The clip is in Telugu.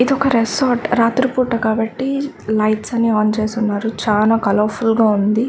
ఇదొక రిసార్ట్ రాత్రి పూట కాబట్టి లైట్స్ అన్ని ఆన్ చేసి ఉన్నారు చానా కలర్ ఫుల్ గా ఉంది.